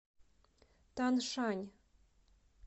таншань